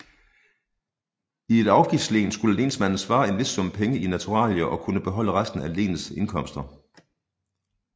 I et afgiftslen skulle lensmanden svare en vis sum i penge og naturalier og kunne beholde resten af lenets indkomster